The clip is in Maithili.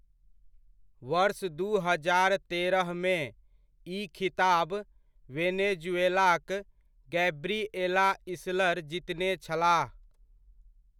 वर्ष दू हजार तेरहमे, ई खिताब वेनेजुएलाक गैब्रिएला इसलर जीतने छलाह।